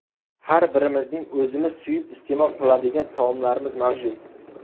Har birimizning o‘zimiz suyib iste’mol qiladigan taomlarimiz mavjud.